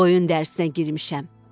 Qoyun dərisinə girmişəm.